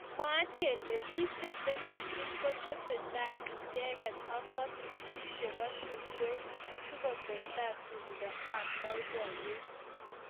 mwaat kele bik cheteleljin kotesetai icheket ak ngatutik chebo tungwek sikotestai tumdo ab boiboyet